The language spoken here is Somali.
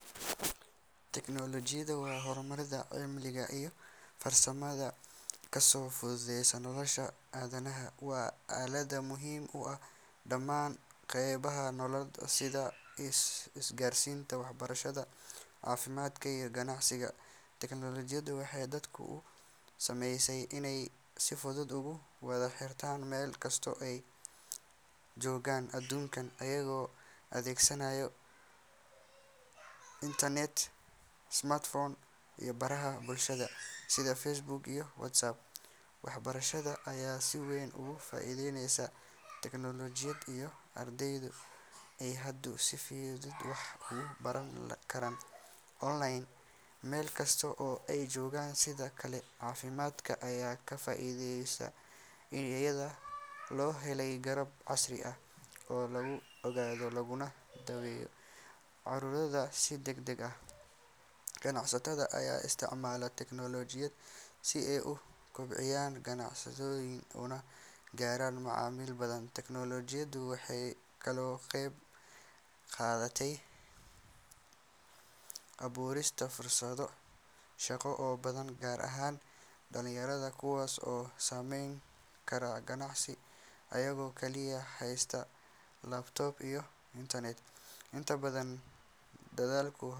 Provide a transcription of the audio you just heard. Tiknoolajiyadu waa horumarka cilmiga iyo farsamada kaasoo fududeeya nolosha aadanaha. Waa aalad muhiim u ah dhammaan qaybaha nolosha sida isgaarsiinta, waxbarashada, caafimaadka iyo ganacsiga. Tiknoolajiyadu waxay dadku u saamaxday inay si fudud ugu wada xiriiraan meel kasta oo ay joogaan aduunka, iyagoo adeegsanaya internet, smartphones iyo baraha bulshada sida Facebook iyo WhatsApp. Waxbarashada ayaa si weyn uga faa’iidaysatay tiknoolajiyada iyadoo ardaydu ay hadda si fudud wax uga baran karaan online, meel kasta oo ay joogaan. Sidoo kale, caafimaadka ayaa ka faa’iiday iyadoo la helay qalab casri ah oo lagu ogaado laguna daweeyo cudurrada si degdeg ah. Ganacsatada ayaa isticmaala tiknoolajiyada si ay u kobciyaan ganacsigooda, una gaaraan macaamiil badan. Tiknoolajiyadu waxay kaloo ka qeyb qaadatay abuurista fursado shaqo oo badan gaar ahaan dhalinyarada, kuwaas oo samayn kara g anacsi iyagoo kaliya haysta laptop iyo internet. Inta badan.